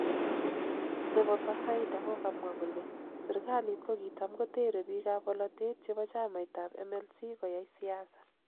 Nebo Bazaida kokamwa kole sirkalit kokitam kotere bikapbolotet chebo chamait ab MLC koyai siasa.